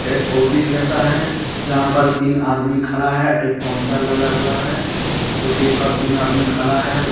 एक ऑफिस जैसा है जहां पर तीन आदमी खड़ा है एक काउंटर लगा हुआ है इस पर तीन आदमी खड़ा है।